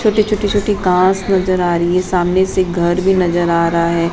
छोटी छोटी छोटी कार्स नजर आ रही है सामने से एक घर भी नजर आ रहा है।